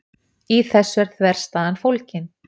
Í þessu er þverstæðan fólgin.